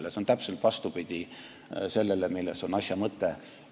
See on täpselt vastupidine sellele, milles on asja mõte.